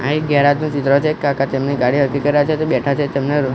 આ એક ગેરાજ નું ચિત્ર છે કાકા તેમની ગાડી હરખી કરી રહ્યા છે તે બેઠા છે તેમને--